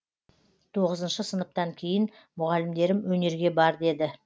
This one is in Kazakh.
тоғызыншы сыныптан кейін мұғалімдерім өнерге бар деді